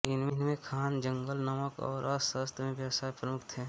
इनमें ख़ान जंगल नमक और अस्त्रशस्त्र के व्यवसाय प्रमुख थे